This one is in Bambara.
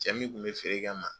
Cɛ min kun bi feere kɛ n ma